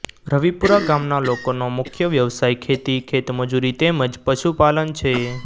રવિપુરા ગામના લોકોનો મુખ્ય વ્યવસાય ખેતી ખેતમજૂરી તેમ જ પશુપાલન છે